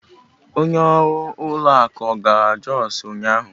Onye ọrụ ụlọ akụ ọ gara Jos ụnyahụ?